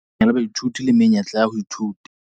CACH e hokahanya baithuti le menyetla ya ho ithuta